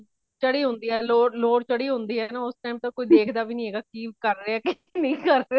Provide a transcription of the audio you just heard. ਜਦੋ ਚੜੀ ਹੋਂਦੀ ਹੈ load ਚੜੀ ਹੋਂਦੀ ਹੈ ਤੇ ਉਸ time ਤੇ ਕੋਈ ਦੇਖਦਾ ਵੀ ਨਹੀਂ ਹੇਗਾ ਕੀ ਕਰ ਰਹੀਆਂ ਕੀ ਨਹੀਂ ਕਰ ਰਹੀਆਂ